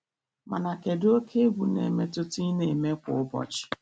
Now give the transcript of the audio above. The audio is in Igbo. Mana kedụ oke egwu na-emetụta ị na-eme kwa ụbọchị.